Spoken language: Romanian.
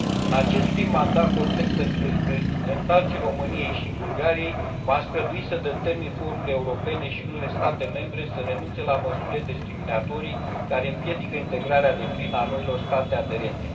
În acest prim mandat complet pentru reprezentanții României și Bulgariei, m am străduit să determin forurile europene și unele state membre să renunțe la măsurile discriminatorii care împiedică integrarea deplină a noilor state aderente.